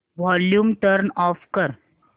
volume turn off कर